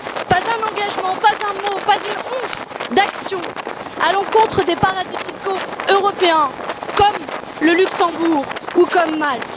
Pas un engagement, pas un mot, pas une once d'action à l'encontre des paradis fiscaux européens, comme le Luxembourg ou comme Malte.